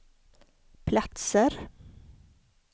platser